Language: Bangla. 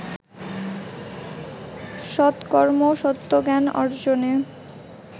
সত্কর্ম সত্য জ্ঞান অর্জনে